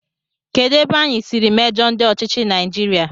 Kedụ ebe anyị siri mejọọ ndị ọchịchị Naijiria?